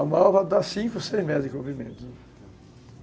A malva dá cinco, seis metros de comprimento,